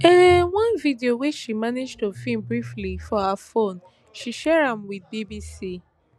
um one video wey she manage to film briefly for her phone she share am wit bbc